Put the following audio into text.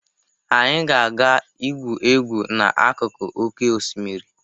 Anyị ga-aga igwu egwu n'akụkụ oké osimiri.